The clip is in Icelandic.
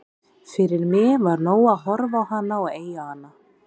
Fyrir mig var nóg að horfa á hana og eiga hana.